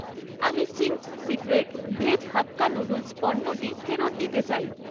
আমি Ching's secret veg hakka noodles পণ্যটি ফেরত দিতে চাই।